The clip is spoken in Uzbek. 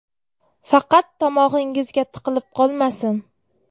Faqat tomog‘ingizga tiqilib qolmasin.